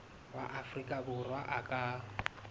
wa afrika borwa a ka